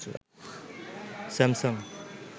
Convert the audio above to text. Samsung